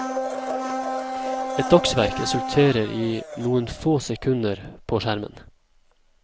Et dagsverk resulterer i noen få sekunder på skjermen.